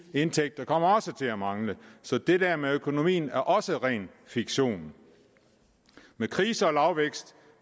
indtægter kommer også til at mangle så det der med økonomien er også ren fiktion med krise og lavvækst